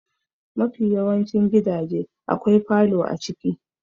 Mafi yawancin gidaje akwai falo a ciki.